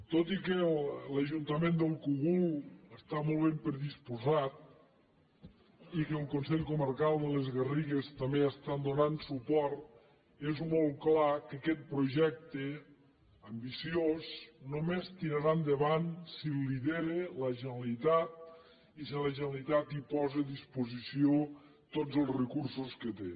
tot i que l’ajuntament del cogul està molt ben predisposat i que el consell comarcal de les garrigues també hi està donant suport és molt clar que aquest projecte ambiciós només tirarà endavant si el lidera la generalitat i si la generalitat hi posa a disposició tots els recursos que té